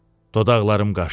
Dodaqlarım qaşdı.